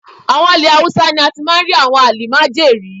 Àwọn ilẹ̀ Haúsá ni a ti máa rí àwọn àlìmájèrí.